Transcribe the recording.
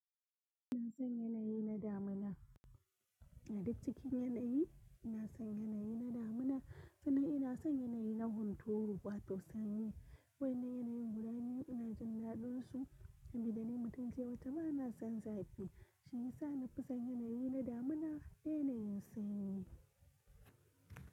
Ina son yanayi na damina. A duk cikin yanayi ina son yanayi na damina sannan ina son yanayi na hunturu wato sanyi. Wa'inna yanayin guda ne ina jin daɗinsu. Ambi da ni mutumce wata ba na son zagi Shi yasa na fi son yanayi na damina da yanayin sanyi.